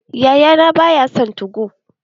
Yayana ba ya son 2go.